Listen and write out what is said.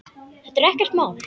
Þetta er ekkert mál!